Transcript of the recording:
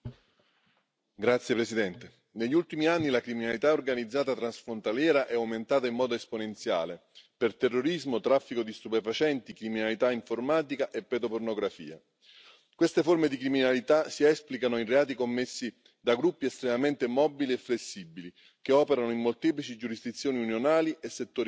Signora Presidente, onorevoli colleghi, negli ultimi anni la criminalità organizzata transfrontaliera è aumentata in modo esponenziale per terrorismo, traffico di stupefacenti, criminalità informatica e pedopornografia. Queste forme di criminalità si esplicano in reati commessi da gruppi estremamente mobili e flessibili, che operano in molteplici giurisdizioni unionali e settori criminali.